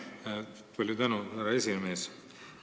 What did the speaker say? Palju tänu, härra aseesimees!